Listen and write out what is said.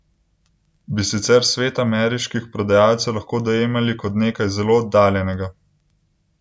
Bi sicer svet ameriških prodajalcev lahko preveč dojemali kot nekaj zelo oddaljenega?